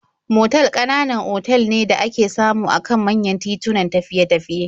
Motal ƙananan otal ne da ake samu a kan manyan titunan tafiye-tafiye.